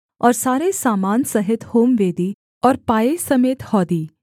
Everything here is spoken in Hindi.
और सारे सामान सहित होमवेदी और पाए समेत हौदी